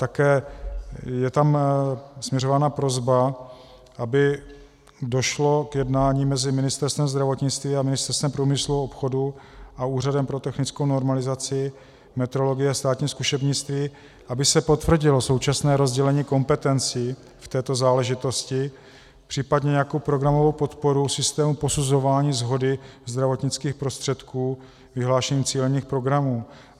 Také je tam směřována prosba, aby došlo k jednání mezi Ministerstvem zdravotnictví a Ministerstvem průmyslu a obchodu a Úřadem pro technickou normalizaci, metrologii a státní zkušebnictví, aby se potvrdilo současné rozdělení kompetencí v této záležitosti, případně nějakou programovou podporu systému posuzování shody zdravotnických prostředků vyhlášením cílených programů.